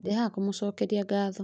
Ndĩhaha kũmũcokeria ngatho